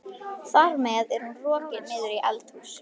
Þar með er hún rokin niður í eldhús.